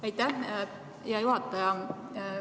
Aitäh, hea juhataja!